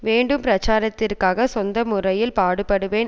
வேண்டும் பிரச்சாரத்திற்காக சொந்த முறையில் பாடுபடுவேன்